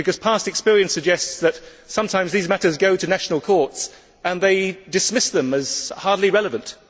Past experience suggests that sometimes these matters go to national courts and they dismiss them as hardly relevant.